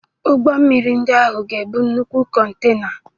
Ụgbọ mmiri ndị ahụ ga-ebu nnukwu kontena.